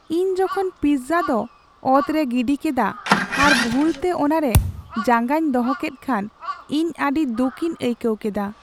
ᱤᱧ ᱡᱚᱠᱷᱚᱱ ᱯᱤᱡᱡᱟ ᱫᱚ ᱚᱛ ᱨᱮ ᱜᱤᱰᱤ ᱠᱮᱫᱟ ᱟᱨ ᱵᱷᱩᱞᱛᱮ ᱚᱱᱟᱨᱮ ᱡᱟᱸᱜᱟᱧ ᱫᱚᱦᱚ ᱠᱮᱫ ᱠᱷᱟᱱ ᱤᱧ ᱟᱹᱰᱤ ᱫᱩᱠᱤᱧ ᱟᱹᱭᱠᱟᱹᱣ ᱠᱮᱫᱟ ᱾